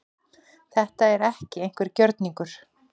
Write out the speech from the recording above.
Þetta er ekki einhver gjörningur